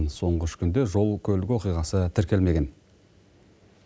соңғы үш күнде жол көлік оқиғасы тіркелмеген